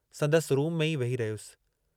संदसि रूम में ई वेही रहयुसि।